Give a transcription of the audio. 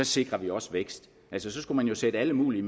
sikrer vi også vækst altså så skulle man jo sætte alle mulige